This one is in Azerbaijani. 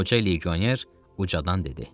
Qoca legioner ucadan dedi.